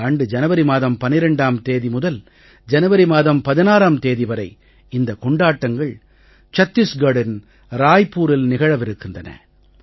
இந்த ஆண்டு ஜனவரி மாதம் 12ம் தேதி முதல் ஜனவரி மாதம் 16ம் தேதி வரை இந்தக் கொண்டாட்டங்கள் சத்தீஸ்கட்டின் ராய்பூரில் நிகழவிருக்கின்றன